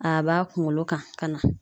A b'a kunkolo kan ka na.